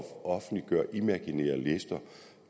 offentliggøre imaginære lister